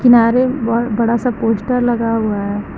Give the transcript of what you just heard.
सारे बहोत बड़ा सा पोस्टर लगा हुआ है।